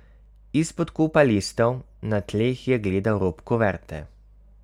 Izpod kupa listov na tleh je gledal rob kuverte.